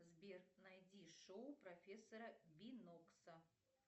сбер найди шоу профессора бинокса